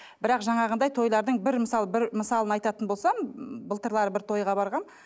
бірақ жаңағындай тойлардың бір мысалы бір мысалын айтатын болсам былтырлары бір тойға барғанмын